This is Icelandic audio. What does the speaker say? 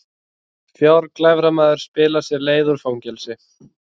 Fjárglæframaður spilar sér leið úr fangelsi